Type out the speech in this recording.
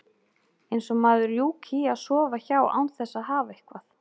Eins og maður rjúki í að sofa hjá án þess að hafa eitthvað.